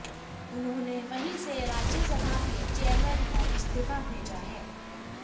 उन्होंने वहीं से राज्यसभा के चेयरमैन को इस्तीफा भेजा है